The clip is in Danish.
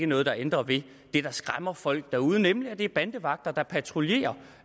noget der ændrer ved det der skræmmer folk derude nemlig at det er bandevagter der patruljerer